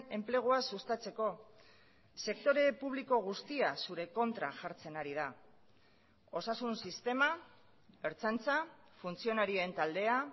enplegua sustatzeko sektore publiko guztia zure kontra jartzen ari da osasun sistema ertzaintza funtzionarien taldea